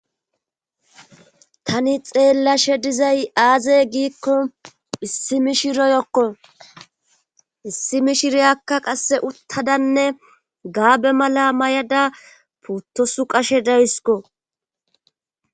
tani xeellashe dizay aaze giikko issi mi shiroyokko issi mi shireyakka qasse uttadanne gaabe mala may7ada puttosu qashe daysiko